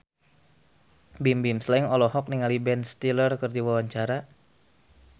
Bimbim Slank olohok ningali Ben Stiller keur diwawancara